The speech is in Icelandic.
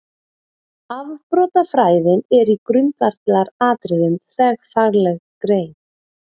Afbrotafræðin er í grundvallaratriðum þverfagleg grein.